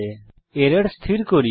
এখন এরর স্থির করি